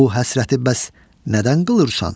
Bu həsrəti bəs nədən qılırsan?